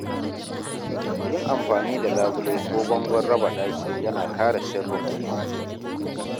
Yin amfani da labule ko bangon raba daki yana kare sirrin mutum.